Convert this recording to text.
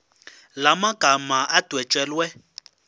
la magama adwetshelwe